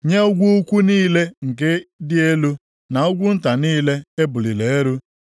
nye ugwu ukwu niile nke dị elu, na ugwu nta niile e buliri elu,